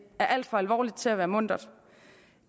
var alt for alvorligt til at være muntert